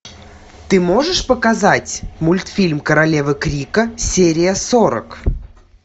ты можешь показать мультфильм королевы крика серия сорок